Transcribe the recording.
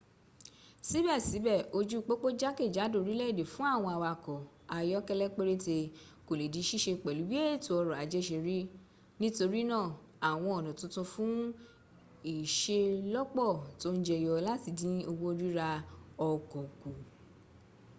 síbẹ̀síbẹ̀ ojú pópó jákèjádò orílẹ̀-èdè fún àwọn awakọ ayọ́kẹ́lẹ́ péréte kò le di síse pẹ̀lú bí ètò ọrọ̀ ajẹ́ sẹ rí nítorínà àwọn ọ̀nà titun fùn ìselọ́pọ́ tó ń jẹyọ láti dín owó ríra ọkọ̀ kù